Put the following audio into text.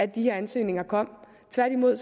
de her ansøgninger kom tværtimod